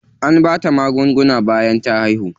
An bata magunguna bayan ta haihu.